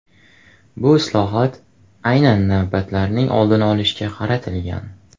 Bu islohot aynan navbatlarning oldini olishga qaratilgan.